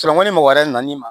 mɔgɔ wɛrɛ nana i ma